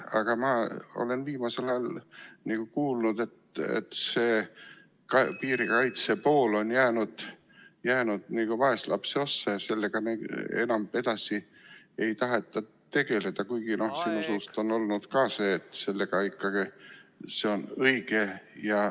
Aga ma olen viimasel ajal kuulnud, et piirikaitse pool on jäänud nagu vaeslapse ossa ja sellega enam edasi ei taheta tegeleda, kuigi sinu suust on kõlanud ka see, et see on ikkagi õige ja ...